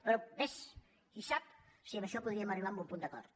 però ves qui sap si en això podríem arribar a un punt d’acord